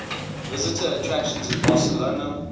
visitor attractions in barcelona